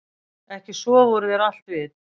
Ekki sofa úr þér allt vit